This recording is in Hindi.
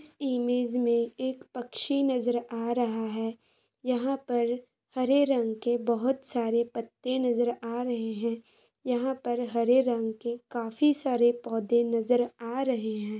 इस इमेज में एक पक्षी नजर आ रहा है। यहाँ पर हरे रंग के बहोत सारे पत्ते नजर आ रहे हैं। यहाँ पर हरे रंग के काफी सारे पौधे नजर आ रहे हैं।